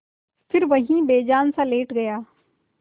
फिर वहीं बेजानसा लेट गया